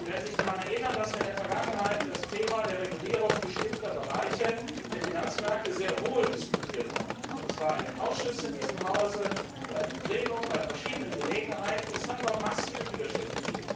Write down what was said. Sie werden sich daran erinnern, dass wir in der Vergangenheit das Thema der Regulierung bestimmter Bereiche der Finanzmärkte sehr wohl diskutiert haben, und zwar in den Ausschüssen in diesem Haus oder bei verschiedenen Gelegenheiten im Plenum. Es gab aber massive Widerstände.